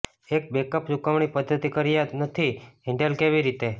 એક બેકઅપ ચુકવણી પદ્ધતિ કર્યા નથી હેન્ડલ કેવી રીતે